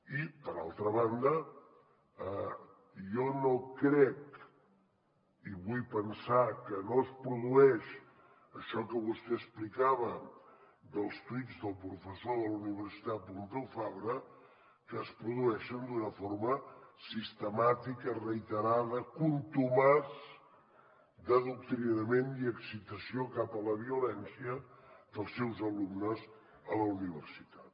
i per altra banda jo no crec i vull pensar que no es produeix això que vostè explicava dels tuits del professor de la universitat pompeu fabra que es produeixen d’una forma sistemàtica reiterada contumaç d’adoctrinament i excitació cap a la violència dels seus alumnes a la universitat